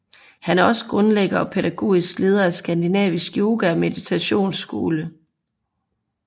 Han er også grundlægger og pædagogiske leder af Skandinavisk Yoga og Meditationsskole